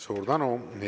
Suur tänu!